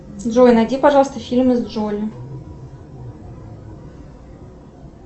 джой найди пожалуйста фильмы с джоли